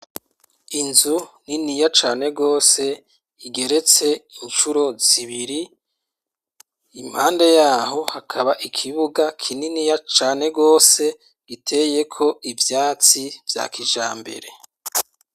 Inzu niniya cane gose, igeretse incuro zibiri. Impande y'aho hakaba ikibuga kininiya cane gose giteyeko ivyatsi vya kijambere.